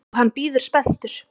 Og hann bíður spenntur.